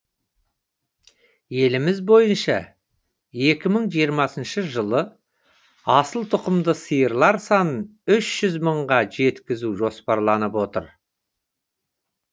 еліміз бойынша екі мың жиырмасыншы жылы асылтұқымды сиырлар санын үш жүз мыңға жеткізу жоспарланып отыр